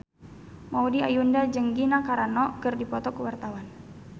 Maudy Ayunda jeung Gina Carano keur dipoto ku wartawan